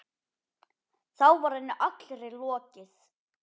Þá var henni allri lokið.